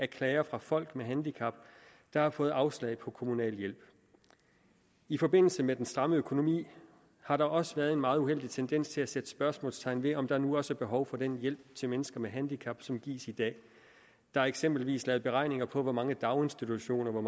klager fra folk med handicap der har fået afslag på kommunal hjælp i forbindelse med den stramme økonomi har der også været en meget uheldig tendens til at sætte spørgsmålstegn ved om der nu også er behov for den hjælp til mennesker med handicap som gives i dag der er eksempelvis lavet beregninger på hvor mange daginstitutioner